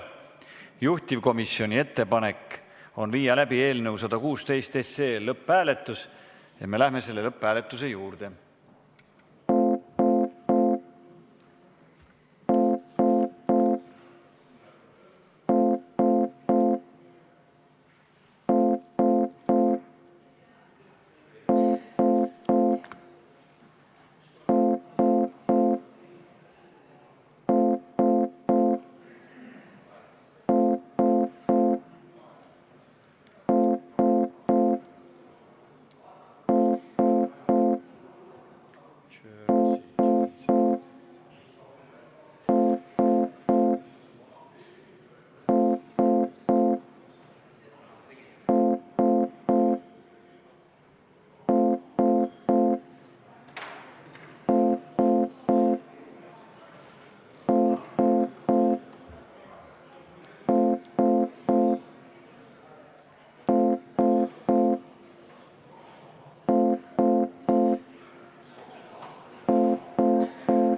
Juhtivkomisjoni ettepanek on viia läbi eelnõu 116 lõpphääletus ja me läheme selle lõpphääletuse juurde.